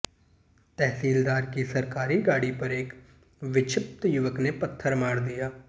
तहसीलदार की सरकारी गाड़ी पर एक विक्षिप्त युवक ने पत्थर मार दिया